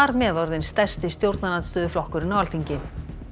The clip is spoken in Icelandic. þar með orðinn stærsti stjórnarandstöðuflokkurinn á Alþingi